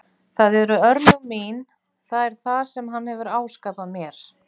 Það eru örlög mín, það er það sem hann hefur áskapað mér.